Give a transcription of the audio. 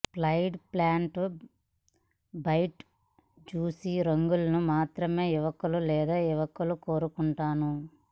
ploid pants bright juicy రంగులు మాత్రమే యువకులు లేదా యువకులు కోరుకుంటాను